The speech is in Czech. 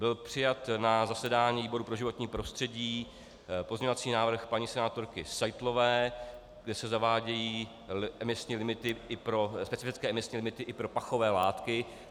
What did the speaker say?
Byl přijat na zasedání výboru pro životní prostředí pozměňovací návrh paní senátorky Seitlové, kde se zavádějí specifické emisní limity i pro pachové látky.